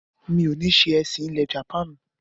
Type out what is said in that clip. mi ò ní se “ẹ̀sìn-ilẹ̀ jàpáànù”.